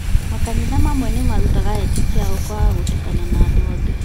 Makanitha mamwe nĩmarutaga etĩkia ao kwaga gũtukana na andũ angĩ